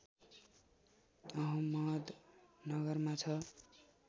अहमदनगरमा छ